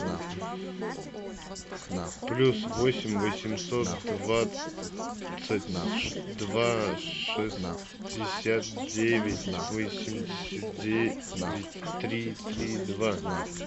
плюс восемь восемьсот двадцать два шестьдесят девять восемьдесят девять три три два